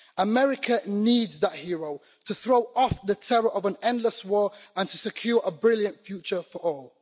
America needs that hero to throw off the terror of an endless war, and to secure a brilliant future for all.